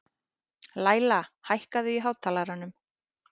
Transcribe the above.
Læla, hækkaðu í hátalaranum.